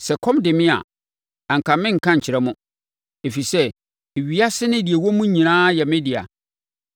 Sɛ ɛkɔm dee me a, anka merenka nkyerɛ mo; ɛfiri sɛ, ewiase ne deɛ ɛwɔ mu nyinaa yɛ me dea.